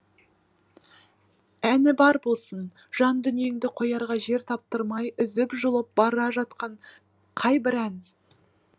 әні бар болсын жан дүниеңді қоярға жер таптырмай үзіп жұлып бара жатқан қай бір ән